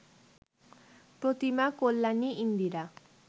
Pratima, Kalyani, Indira